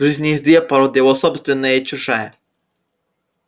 в жизни есть две породы его собственная и чужая